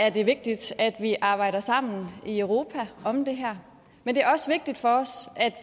er det vigtigt at vi arbejder sammen i europa om det her men det er også vigtigt for os at